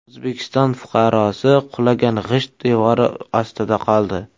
O‘zbekiston fuqarosi qulagan g‘isht devori ostida qoldi.